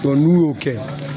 n'u y'o kɛ